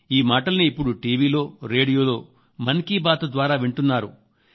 ఈ మాటల్ని ఇప్పుడు టీవీలో రేడియోలో మన్ కీ బాత్ ద్వారా వింటున్నారు